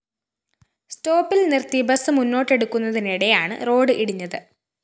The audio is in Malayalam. സ്റ്റോപ്പില്‍ നിര്‍ത്തി ബസ് മുന്നോട്ടെടുക്കുന്നതിനിടെയാണ് റോഡ്‌ ഇടിഞ്ഞത്